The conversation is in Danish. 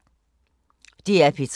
DR P3